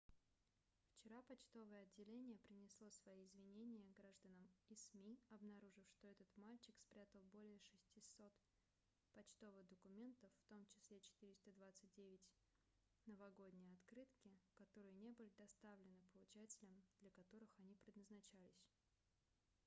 вчера почтовое отделение принесло свои извинения гражданам и сми обнаружив что этот мальчик спрятал более 600 почтовых документов в том числе 429 новогодние открытки которые не были доставлены получателям для которых они предназначались